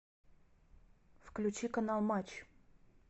включи канал матч